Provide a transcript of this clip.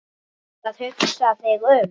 Ertu að hugsa þig um?